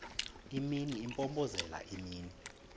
imini impompozelela imini